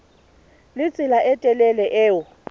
le tsela e telele eo